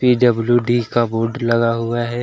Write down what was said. PWD का board लगा हुआ हैं।